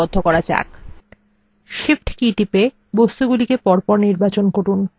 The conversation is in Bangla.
shift key টিপে বস্তুগুলিকে পরপর নির্বাচন করুন